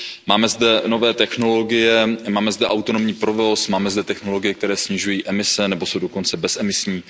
Máme zde nové technologie, máme zde autonomní provoz, máme zde technologie, které snižují emise nebo jsou dokonce bezemisní.